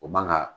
O man ga